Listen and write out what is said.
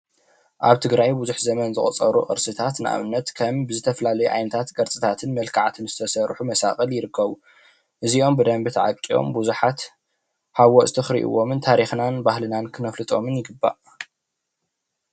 ኣብ ትግራይ ብዙሕ ዘመን ዘቑፀሩ ቅርስታት ንኣብነት ከም ብዝተፈላለዩ ዓይነታት ቅርፅታትን መልክዓትን ዝተሰርሑ መሳቕል ይርከቡ። እዝኦም ብደንቢ ታዓቂቦም ብዙሓት ሃወፅቲ ክርእይዮምን ታሪክናን ባህልናን ክነፍልጦም ይግባእ።